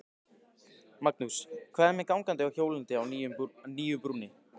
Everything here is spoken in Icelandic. Magnús: Hvað með gangandi og hjólandi á nýju brúnni?